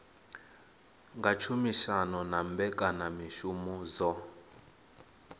nga tshumisano na mbekanyamushumo dzo